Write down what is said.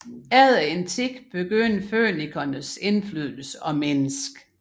Efter en tid begyndte fønikernes indflydelse at mindske